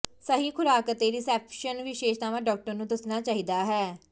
ਸਹੀ ਖੁਰਾਕ ਅਤੇ ਰਿਸੈਪਸ਼ਨ ਵਿਸ਼ੇਸ਼ਤਾਵਾਂ ਡਾਕਟਰ ਨੂੰ ਦੱਸਣਾ ਚਾਹੀਦਾ ਹੈ